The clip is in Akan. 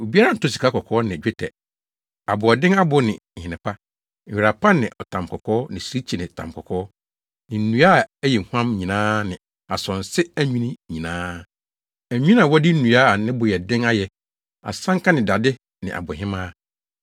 Obiara ntɔ sikakɔkɔɔ ne dwetɛ, aboɔden abo ne nhene pa, nwera pa ne ɔtamkɔkɔɔ ne sirikyi ne tamkɔkɔɔ, ne nnua a ɛyɛ huam nyinaa ne asonse adwinne nyinaa, adwinne a wɔde nnua a ne bo yɛ den ayɛ, asanka ne dade ne abohemaa,